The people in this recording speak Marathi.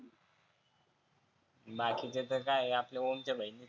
बाकीच्या तर आपल्या गृपच्या बहिनी आहे.